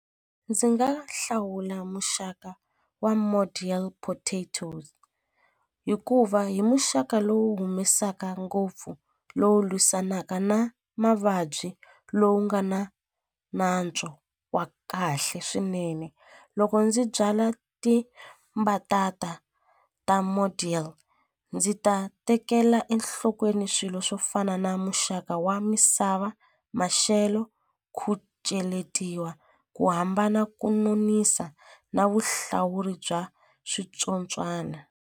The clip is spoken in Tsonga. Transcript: Ndzi nga hlawula muxaka wa model potatos hikuva hi muxaka lowu humesaka ngopfu lowu lwisanaka na mavabyi lowu nga na nantswo wa kahle swinene loko ndzi byala tibatata ta model ndzi ta tekela enhlokweni swilo swo fana na muxaka wa misava maxelo ku cheletiwa ku hambana ku nonisa na vuhlawuri bya switsotswana.